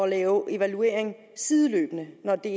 lave evaluering sideløbende når det